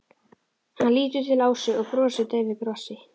Hann lítur til Ásu og brosir daufu brosi.